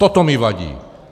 Toto mi vadí.